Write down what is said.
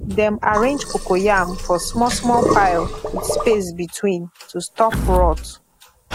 dem arrange cocoyam for smallsmall pile with space between to stop rot